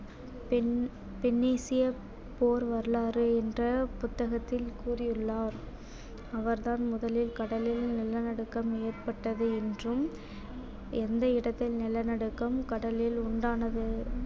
போர் வரலாறு என்ற புத்தகத்தில் கூறியுள்ளார் அவர்தான் முதலில் கடலில் நிலநடுக்கம் ஏற்பட்டது என்றும் எந்த இடத்தில் நிலநடுக்கம் கடலில் உண்டானது